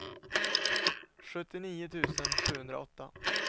sjuttionio tusen sjuhundraåtta